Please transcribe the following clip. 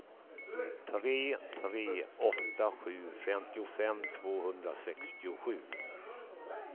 tre tre åtta sju femtiofem tvåhundrasextiosju